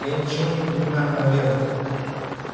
я ничего не принимаю на веру